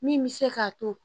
Min bɛ se k'a to